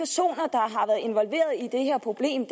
at involveret i det her problem